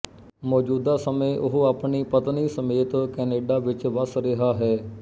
ਮੋਜੂਦਾ ਸਮੇਂ ਓਹ ਆਪਣੀ ਪਤਨੀ ਸਮੇਤ ਕੈਨੇਡਾ ਵਿੱਚ ਵਸ ਰਿਹਾ ਹੈ